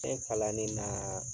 Fɛn kalanni na.